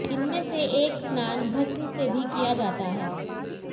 इनमें से एक स्नान भस्म से भी किया जाता है